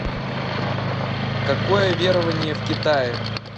какое верование в китае